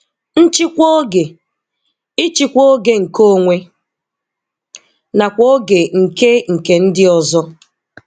Nchịkwa Ógè - Ịchịkwa oge nke onwe nakwa oge nke nke ndị ọzọ.